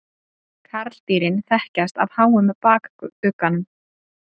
Karldýrin þekkjast af háum bakugganum.